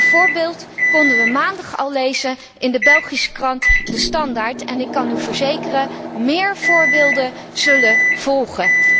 Een voorbeeld konden we maandag al lezen in de Belgische krant De Standaard en ik kan u verzekeren, méér voorbeelden zullen volgen.